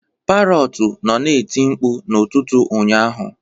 Parọtu nọ na-eti mkpu n'ụtụtụ ụnyaahụ